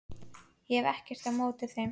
Ég hef ekkert á móti þeim.